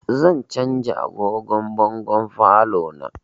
Zan canza agogon bangon falon na